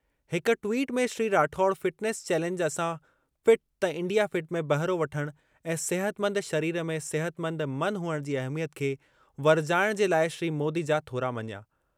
हिक ट्वीट में Shri Rathore fitness challenge असां फ़िट त इंडिया फ़िट में बहिरो वठणु ऐं सिहतमंद शरीर में सिहतमंद मन हुअणु जी अहमियत खे वरिजाइणु जे लाइ श्री मोदी जा थोरा मञिया।